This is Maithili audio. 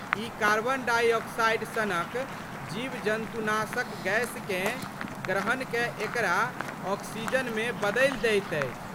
ई कार्बन डाइ ऑक्साइड सनक जीवजन्तुनाशक गैसकेँ ग्रहण कए एकरा ऑक्सीजनमे बदलि दैत अछि।